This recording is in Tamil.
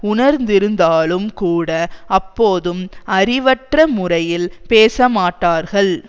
உணர்ந்திருந்தாலும் கூட அப்போதும் அறிவற்ற முறையில் பேசமாட்டார்கள்